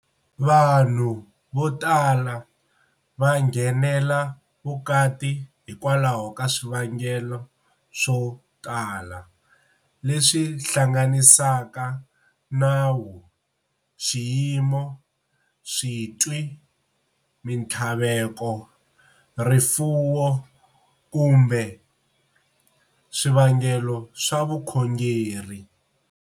Vanhu votala va nghenela vukati hikwalaho ka swivangelo swo tala, leswi hlanganisaka nawu, xiyimo, switwi, minthlaveko, rifuwo kumbe swivangelo swa vukhongeri.